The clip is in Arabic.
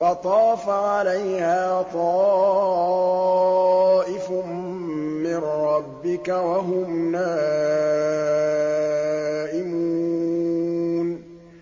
فَطَافَ عَلَيْهَا طَائِفٌ مِّن رَّبِّكَ وَهُمْ نَائِمُونَ